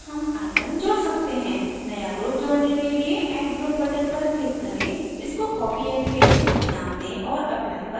नया group जोडने के लिए add group button पर click करें इसको copy and paste name दें और apply पर click करें